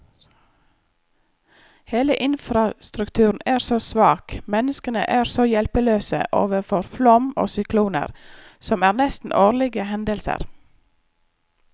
Hele infrastrukturen er så svak, menneskene er så hjelpeløse overfor flom og sykloner, som er nesten årlige hendelser.